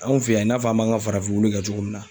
Anw fɛ yan i n'a fɔ an b'an ka farafin wuli cogo min na.